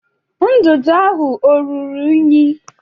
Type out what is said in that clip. Ndụdụ ahụ ọ ruru unyi?